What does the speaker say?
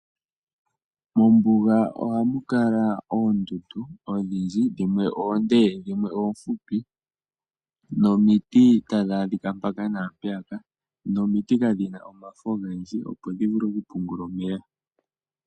Mombuga ohamu kala oondundu odhindji dhimwe oonde dho dhimwe oofupi nomiti tadhi adhika mpaka naampeyaka, nomiti kadhina omafo ogendji opo dhivule oku pungula omeya.